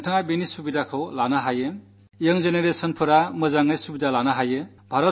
നിങ്ങൾ ഇതു പരമാവധി പ്രയോജനപ്പെടുത്തുക വിശേഷിച്ചും പുതു തലമുറ